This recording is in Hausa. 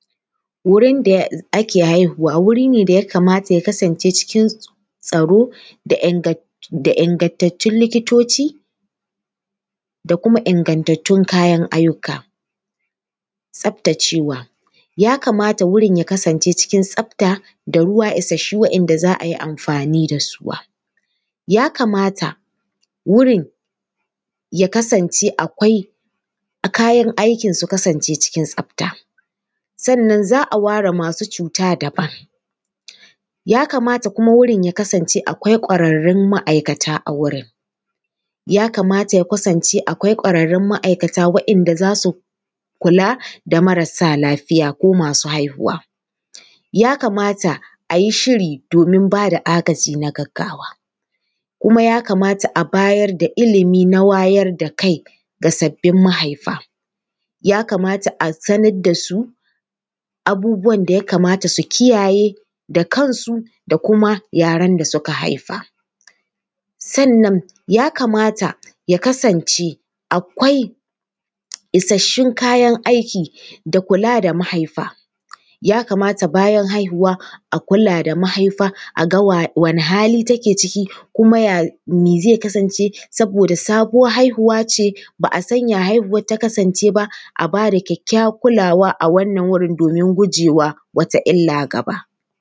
Wurin da ake haihuwa wuri ne da ya kamata ya kasance cikin tsaro da ingantattun likitoci da kuma ingantattun kayan ayyuka. Tsaftacewa, ya kamata wurin ya kasance cikin tsafta da ruwa isassu wanda za a yi amfani da su. Ya kamata wurin ya kasance akwai, kayan aikin su kasance cikin tsafta. Sannan za a ware masu cuta daban, ya kamata kuma wurin ya kasance wurin akwai ƙwararrun ma’aikata a wurin, ya kamata ya kasance akwai ƙwararrun ma’aikata waɗanda za su kula da marasa lafiya ko masu haihuwa. Ya kamata a yi shiri domin ba da agaji na gaggawa. Kuma ya kamata a bayar da ilimi na wayar da kai ga sabbin mahaifa. Ya kamata a sanar da su abubuwan da ya kamata su kiyaye da kansu da kuma yaran da suka haifa.. Sannan ya kamata ya kasance akwai isassun kayan aiki da kula da mahaifa. Ya kamata bayan haihuwa, a kula da mahaifa, a ga wane hali take ciki kuma ya, me zai kasance, saboda sabuwar haihuwa ce, ba a san ya haihuwar ta kasance ba, a ba da kyakkyawar kulawa a wannan wurin domin guje wa wata illa gaba.